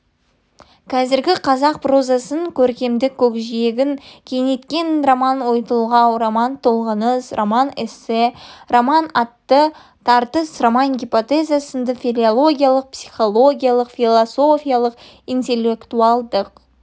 қазіргі қазақ прозасының көркемдік көкжиегін кеңейткен роман ойтолғау роман-толғаныс роман-эссе роман-айты тартыс роман гепотеза сынды филологиялық психологиялық философиялық интеллектуалдық